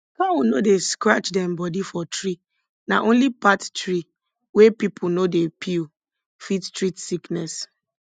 cow no dey scratch dem body for tree na only path tree wey people no dey peel fit treat sickness